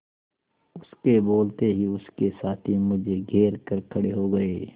उसके बोलते ही उसके साथी मुझे घेर कर खड़े हो गए